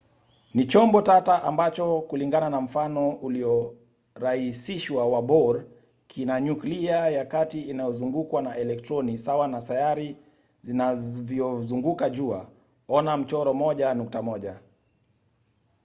ni chombo tata ambacho kulingana na mfano uliorahisishwa wa bohr kina nyuklia ya kati inayozungukwa na elektroni sawa na sayari zinavyozunguka jua - ona mchoro 1.1